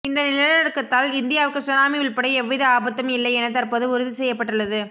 இந்த நிலநடுக்கத்தால் இந்தியாவுக்கு சுனாமி உள்பட எவ்வித ஆபத்தும் இல்லை என தற்போது உறுதி செய்யப்பட்டுள்ளது